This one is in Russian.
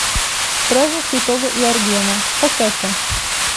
праздник святого йоргена поставь ка